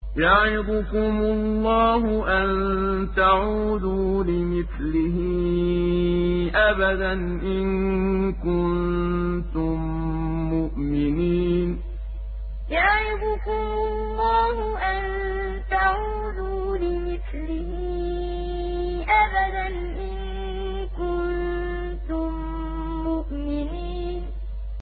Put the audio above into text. يَعِظُكُمُ اللَّهُ أَن تَعُودُوا لِمِثْلِهِ أَبَدًا إِن كُنتُم مُّؤْمِنِينَ يَعِظُكُمُ اللَّهُ أَن تَعُودُوا لِمِثْلِهِ أَبَدًا إِن كُنتُم مُّؤْمِنِينَ